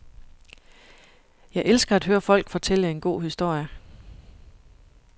Jeg elsker at høre folk fortælle en god historie.